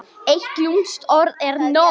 Eitt lúmskt orð er nóg.